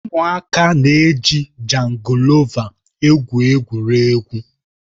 Ụmụaka na-eji jangọlova egwu egwuregwu